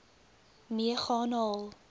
mee gaan haal